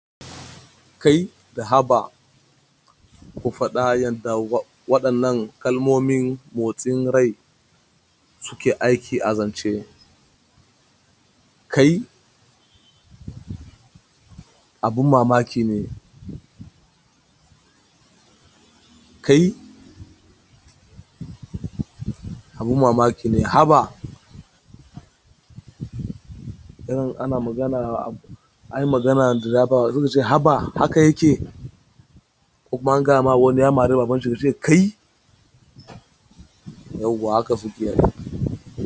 Kai! Da haba! Ku faɗa yadda waɗannan kalmomin motsin rai suke aiki a zance. Kai! Abin mamaki ne. Kai, abin mamaki ne. Haba, irin ana magana, anyi magana da driver sai ku ce haba! Haka yake. Ko kuma an gaya ma wani ya mari baban shi ya ce kai! Yauwa haka suke yi.